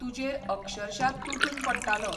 तुजेर अक्षरशा तुटून पडटालो.